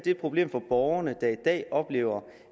et problem for borgerne der i dag oplever